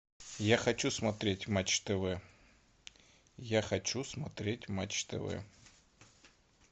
я хочу смотреть матч тв я хочу смотреть матч тв